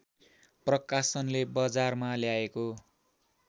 प्रकाशनले बजारमा ल्याएको